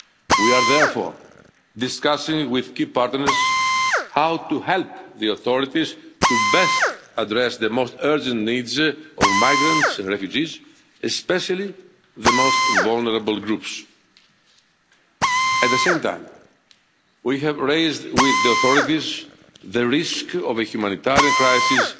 We are therefore discussing with key partners how to help the authorities to best address the most urgent needs of migrants and refugees, especially the most vulnerable groups. At the same time, we have raised with the authorities the risk of a humanitarian crisis